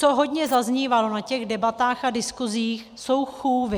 Co hodně zaznívalo na těch debatách a diskusích, jsou chůvy.